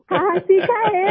हाँहाँ